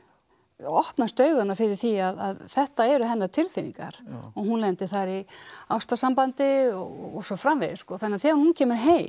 opnast augu hennar fyrir því að þetta eru hennar tilfinningar og hún lendir þar í ástarsambandi og svo framvegis þannig að þegar hún kemur heim